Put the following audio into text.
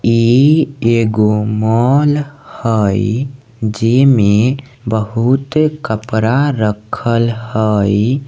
इ एगो मॉल हई जेई में बहुत कपड़ा रखल हई।